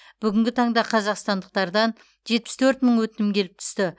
бүгінгі таңда қазақстандықтардан жетпіс төрт мың өтінім келіп түсті